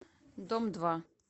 дом два